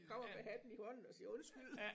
Kommer med hatten i hånden og siger undskyld